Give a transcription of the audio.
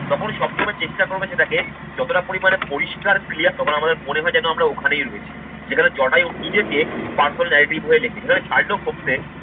তখনই সবসময় চেষ্টা করবে সেটাকে যতটা পরিমাণে পরিষ্কার clear তখন আমাদের মনে হয় যেন আমরা ওখানেই রয়েছি। যেখানে জটায়ু নিজেকে personal narrative হয়ে লেখে। যেখানে Sherlock Holmes এর